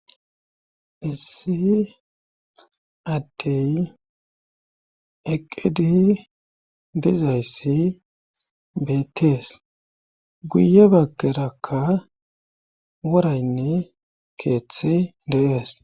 Issi attey eqqedi dizayssi betees guye bageraka woraynne keeththe de'es.